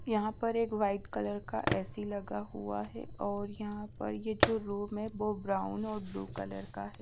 यहाँ पर एक वाइट कलर का ए_सी लगा हुआ हैं और यहाँ पर एक जो रूम हैं ब्राउन और ब्लू कलर का हैं।